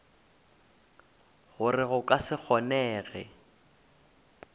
gore go ka se kgonege